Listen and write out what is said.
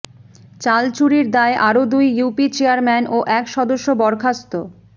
চাল চুরির দায়ে আরো দুই ইউপি চেয়ারম্যান ও এক সদস্য বরখাস্ত